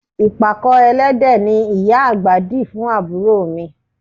Ìpàkọ́ ẹlẹ́dẹ̀ ni ìyá àgbà di fún àbúrò mi